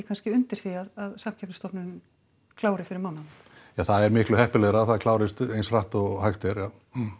undir því að Samkeppnisstofnun klári fyrir mánaðamót ja það er miklu heppilegra að það klárist eins hratt og hægt er já